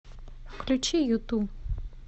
включи юту